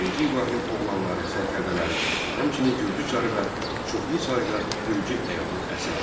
Birinci İbrahim oğlanları, sərkərdələri, həmçinin Gürcü çarı və çoxlu sayda Gürcü əyanı əsir aldı.